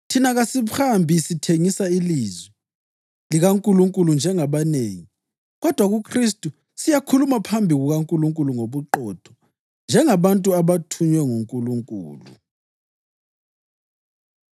Thina kasihambi sithengisa ilizwi likaNkulunkulu njengabanengi. Kodwa kuKhristu siyakhuluma phambi kukaNkulunkulu ngobuqotho, njengabantu abathunywe nguNkulunkulu.